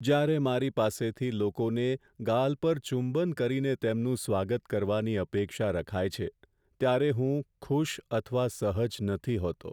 જ્યારે મારી પાસેથી લોકોને ગાલ પર ચુંબન કરીને તેમનું સ્વાગત કરવાની અપેક્ષા રખાય છે ત્યારે હું ખુશ અથવા સહજ નથી હોતો.